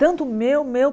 Tanto o meu, meu...